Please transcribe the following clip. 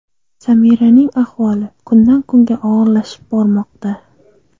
Samiraning ahvoli kundan-kunga og‘irlashib bormoqda.